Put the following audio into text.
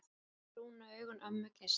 Fallegu, brúnu augun ömmu geisla.